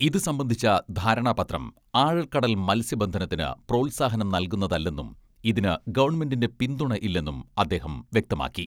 ഇതു സംബന്ധിച്ച ധാരണാപത്രം ആഴക്കടൽ മത്സ്യബന്ധനത്തിന് പ്രോത്സാഹനം നൽകുന്നതല്ലെന്നും ഇതിന് ഗവൺമെന്റിന്റെ പിന്തുണ ഇല്ലെന്നും അദ്ദേഹം വ്യക്തമാക്കി.